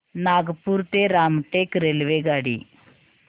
नागपूर ते रामटेक रेल्वेगाडी